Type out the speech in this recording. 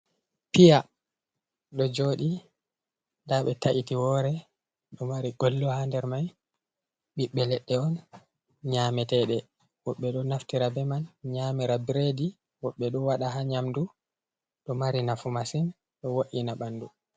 Piya do jodi ɗa ɓe ta’iti wore do mari gollo ha nder mai ɓiɓbe ledde on nyameteɗe woɓɓe do naftira be man nyamira biredi woɓɓe ɗo wada ha nyamdu ɗo mari nafu masin ɗo wo’ina ɓandu.